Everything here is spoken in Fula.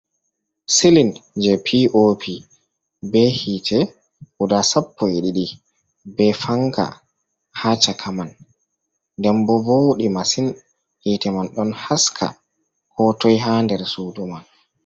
Silin je pop be hite guda sappoi ɗiɗi, be fanka haa chaka man, nden bo vowɗi masin hite man ɗon haska ko toi ha der suudu man.